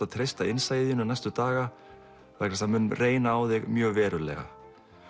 að treysta innsæi þínu næstu daga því það mun reyna á þig mjög verulega